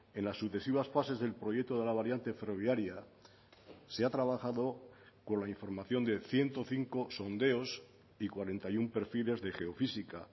en las sucesivas fases del proyecto de la variante ferroviaria se ha trabajado con la información de ciento cinco sondeos y cuarenta y uno perfiles de geofísica